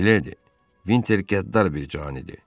Miledi, Vinter qəddar bir canidir.